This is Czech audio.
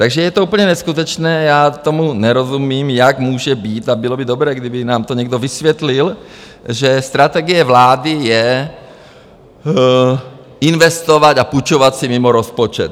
Takže je to úplně neskutečné, já tomu nerozumím, jak může být, a bylo by dobré, kdyby nám to někdo vysvětlil, že strategie vlády je investovat a půjčovat si mimo rozpočet.